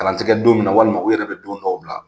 Kalan ti gɛ don min na walima u yɛrɛ bi don dɔw bila.